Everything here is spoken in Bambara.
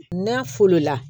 N'a folo la